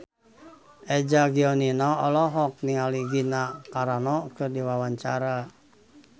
Eza Gionino olohok ningali Gina Carano keur diwawancara